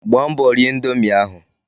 Gbaa mbọ rie indomie ahụ!